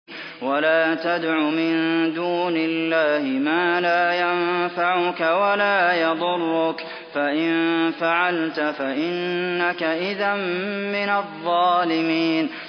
وَلَا تَدْعُ مِن دُونِ اللَّهِ مَا لَا يَنفَعُكَ وَلَا يَضُرُّكَ ۖ فَإِن فَعَلْتَ فَإِنَّكَ إِذًا مِّنَ الظَّالِمِينَ